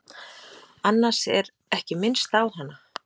Annars er ekki minnst á hana.